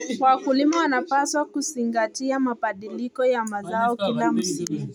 Wakulima wanapaswa kuzingatia mabadiliko ya mazao kila msimu.